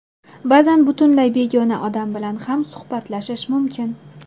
Ba’zan butunlay begona odam bilan ham suhbatlashish mumkin.